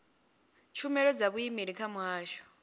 tshumelo dza vhuimeli kha muhasho